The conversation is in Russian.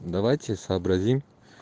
давайте сообразим